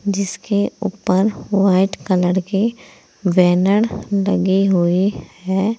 जिसके ऊपर white colour के बैनर लगे हुए है।